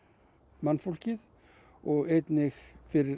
mannfólkið og einnig fyrir